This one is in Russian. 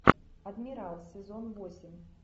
адмирал сезон восемь